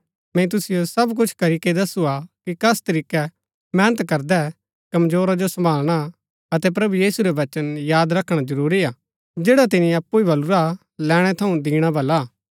मैंई तुसिओ सब कुछ करीके दसुआ कि कस तरीकै मेहनत करदै कमजोरा जो सम्भालणा अतै प्रभु यीशु रै वचन याद रखणा जरूरी हा जैडा तिनी अप्पु ही बलुरा हा लैणै थऊँ दिणा भला हा